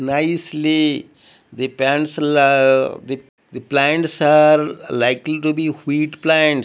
nicely the pencil ah the the plants are likely to be wheat plants.